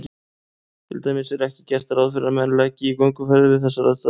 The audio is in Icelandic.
Til dæmis er ekki gert ráð fyrir að menn leggi í gönguferðir við þessar aðstæður.